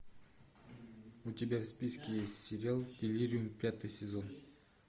у тебя в списке есть сериал делириум пятый сезон